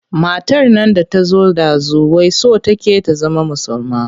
Matar nan da ta zo ɗazu wai so take ta zama musulma.